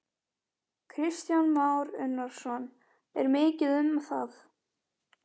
Kristján Már Unnarsson: Er mikið um það?